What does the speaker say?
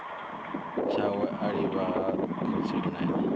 tshawe a livha ha khotsimunene